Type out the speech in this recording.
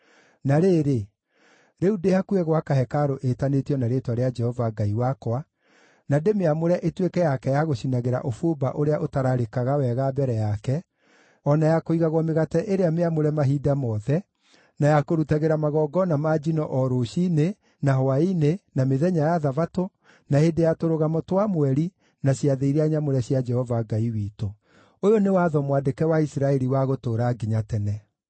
Na rĩrĩ, rĩu ndĩ hakuhĩ gwaka hekarũ ĩtanĩtio na Rĩĩtwa rĩa Jehova Ngai wakwa na ndĩmĩamũre ĩtuĩke yake ya gũcinagĩra ũbumba ũrĩa ũtararĩkaga wega mbere yake, o na ya kũigagwo mĩgate ĩrĩa mĩamũre mahinda mothe, na ya kũrutagĩra magongona ma njino o rũciinĩ, na hwaĩ-inĩ, na mĩthenya ya Thabatũ, na hĩndĩ ya Tũrũgamo twa Mweri na ciathĩ iria nyamũre cia Jehova Ngai witũ. Ũyũ nĩ watho mwandĩke wa Isiraeli wa gũtũũra nginya tene.